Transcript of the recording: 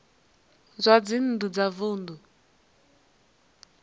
zwa dzinn ḓu wa vunḓu